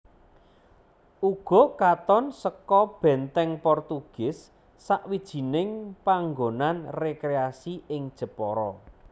Ugo katon seka Benteng Portugis sawijining panggonan rekreasi ing Jepara